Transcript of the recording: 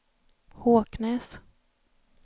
Håknäs